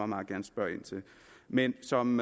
meget gerne spørge ind til men som